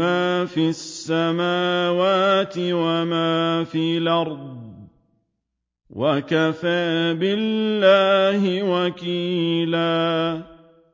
مَا فِي السَّمَاوَاتِ وَمَا فِي الْأَرْضِ ۗ وَكَفَىٰ بِاللَّهِ وَكِيلًا